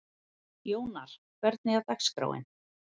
Jónar, hvernig er dagskráin?